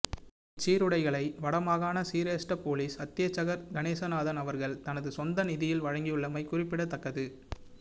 இச் சீருடைகளை வடமாகாண சிரேஸ்ட பொலிஸ் அத்தியட்சகர் கணேசநாதன் அவர்கள் தனது சொந்த நிதியில் வழங்கியுள்ளமை குறிப்பிடத்தக்கது